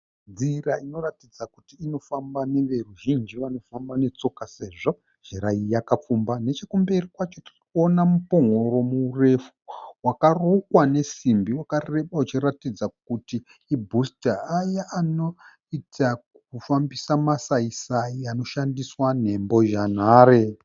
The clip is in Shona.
Nzira inoratidza kuti inofamba neveruzhinji vanofamba netsoka, sezvo nzira iyi yakapfumba. Nechekumberi kwacho tirikuona mupongoro murefu wakarukwa nesimbi wakareba uchiratidza kuti i'booster' aya anoita kufambisa masai-sai anoshandiswa nembozhanhare.